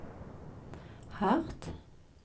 hardt